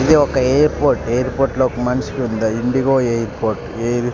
ఇది ఒక ఏర్పోర్ట్ ఎయిర్పోర్టులో ఒక మనిషికి ఉందా ఇండిగో ఎయిర్పోర్ట్ ఏ.